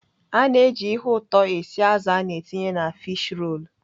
Ana eji ihe ụtọ esi azụ ana etinye na fish rolu.